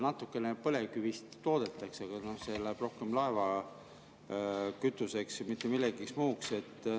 Natukene põlevkivist toodetakse, aga see läheb rohkem laevakütuseks, mitte millekski muuks.